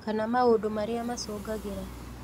Kana maũndũ marĩa macũngagĩra ?